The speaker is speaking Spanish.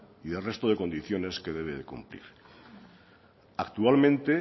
y de resto de condiciones que debe cumplir actualmente